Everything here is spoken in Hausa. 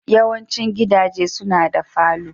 Yawaicin gidaje suna da falo.